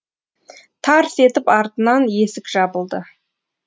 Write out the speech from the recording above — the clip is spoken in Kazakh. тарс етіп артынан есік жабылды